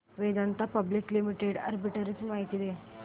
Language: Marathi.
वेदांता पब्लिक लिमिटेड आर्बिट्रेज माहिती दे